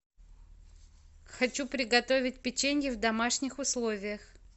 хочу приготовить печенье в домашних условиях